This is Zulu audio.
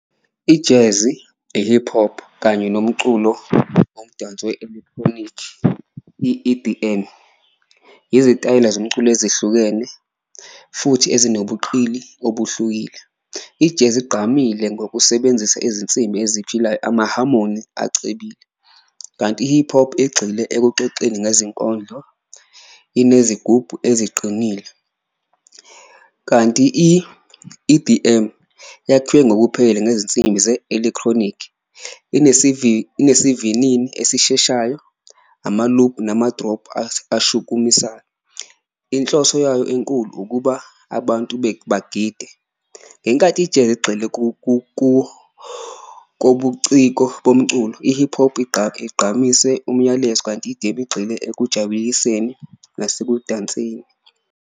Ijezi, i-hip hop kanye nomculo omdanso we-electronic i-E_D_M, izitayela zomculo ezihlukene futhi ezinobuqili obuhlukile. Ijezi igqamile ngokusebenzisa izinsimbi eziphilayo, amahamoni acebile, kanti i-hip hop igxile ekuxexeni nezinkondlo, inezigubhu eziqinile. Kanti i-E_D_M yakhiwe ngokuphelele ngezinsimbi ze-electronic, inesivinini esisheshayo, ama-loop nama-drop ashukumisayo inhloso yayo enkulu ukuba abantu bethu bagide. Ngenkathi ijezi igxile kobuciko bomculo, i-hip hop igqamise umyalezo, kanti igxile ekujabuliseni nasekudanseni.